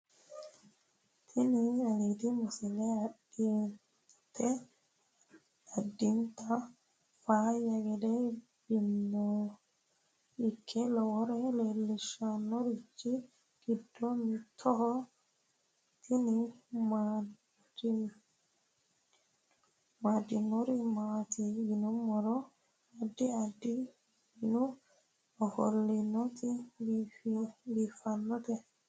tini alidi misile adinta faayya gede binoa ike lowore leellishannorichi giddo mitoho tini amaddinori maati yinummoro addi addi minu ofollooti biiffanota